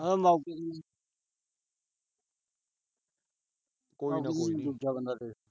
ਦੂਜਾ ਬੰਦਾ